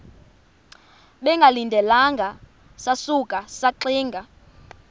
bengalindelanga sasuka saxinga